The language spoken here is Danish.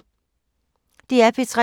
DR P3